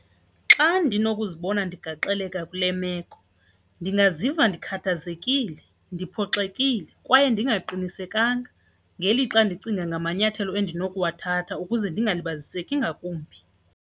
Xa ndinokuzibona ndigaxeleke kule meko ndingaziva ndikhathazekile, ndiphoxekile kwaye ndingaqinisekanga ngelixa ndicinga ngamanyathelo endinokuwathatha ukuze ndingalibaziseki ngakumbi.